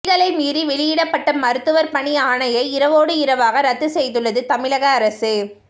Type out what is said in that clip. விதிகளை மீறி வெளியிடப்பட்ட மருத்துவர் பணி ஆணையை இரவோடு இரவாக ரத்து செய்துள்ளது தமிழக அரசு